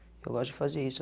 Eu gosto de fazer isso.